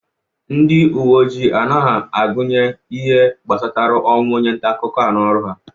Ndi uwe ojii anghị agụnye ihe gbasara ọnwụ onye ntaakụkọ a n'ọrụ ha.